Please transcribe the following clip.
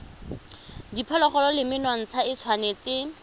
diphologolo le menontsha e tshwanetse